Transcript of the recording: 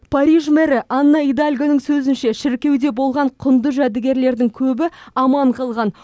париж мэрі анна идальгоның сөзінше шіркеуде болған құнды жәдігерлердің көбі аман қалған